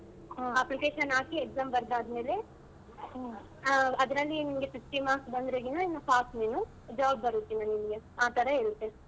Application ಹಾಕಿ exam ಬರ್ದ್ ಆದ್ಮೇಲೆ ಆ ಅದ್ರಲ್ಲಿ ನಿನ್ಗೆ fifty marks ಬಂದ್ರೆಗಿನ ಇನ್ನ pass ನೀನು job ಬರುತ್ತೆ ನಿನ್ಗೆ ಆತರ ಇರುತ್ತೆ.